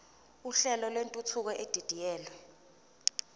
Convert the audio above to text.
uhlelo lwentuthuko edidiyelwe